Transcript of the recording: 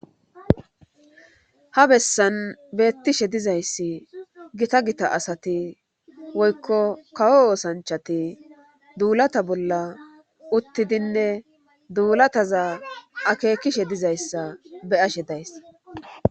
Ha bessan beettishe dizayssi gita gita asati woykko kawo oosanchati duulata bolla uttidinne duulataza akeekishe dizayssa beyashe days